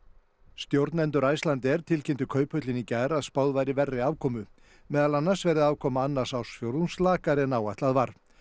stjórnendur Icelandair tilkynntu Kauphöllinni í gær að spáð væri verri afkomu meðal annars verði afkoma annars ársfjórðungs lakari en áætlað var